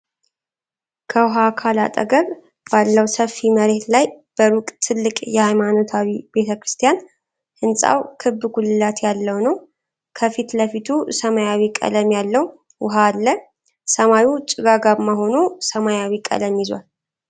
ከውኃ አካል አጠገብ ባለው ሰፊ መሬት ላይ በሩቅ ትልቅ የሃይማኖታዊ በተ ክርስቲያን ። ሕንፃው ክብ ጉልላት ያለው ነው፡፡ ከፊት ለፊቱ ሰማያዊ ቀለም ያለው ውሃ አለ። ሰማዩ ጭጋጋማ ሆኖ ሰማያዊ ቀለም ይዟል።